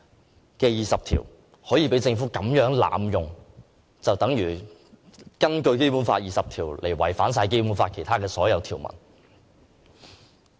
政府如此濫用《基本法》第二十條，便等同根據《基本法》第二十條違反《基本法》其他所有條文。